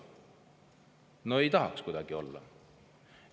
No ei tahaks kuidagi olla!